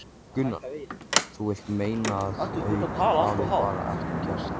Gunnar: Þú vilt meina að þau hafi bara ekkert gert?